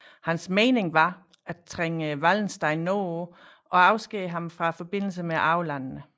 Hans mening var at trænge Wallenstein nordpå og afskære ham forbindelsen med arvelandene